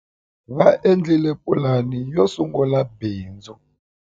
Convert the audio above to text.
Va endlile pulani yo sungula bindzu.